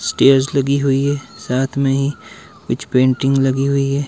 Stage लगी हुई है साथ में ही कुछ पेंटिंग लगी हुई है।